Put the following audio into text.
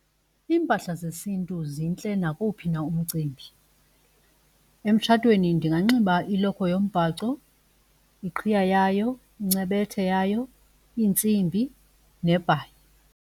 Iimpahla zesiNtu zintle nakowuphi na umcimbi. Emtshatweni ndinganxiba ilokhwe yombhaco, iqhiya yayo, incebethe yayo, iintsimbi nebhayi.